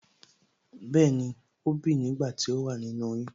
Bẹẹni,ó bìi nígbà tí ó wà nínú oyún